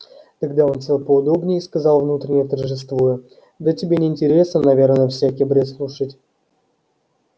тогда он сел поудобнее и сказал внутренне торжествуя да тебе не интересно наверное всякий бред слушать